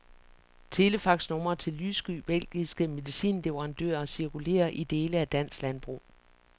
Telefaxnumre til lyssky belgiske medicinleverandører cirkulerer i dele af dansk landbrug.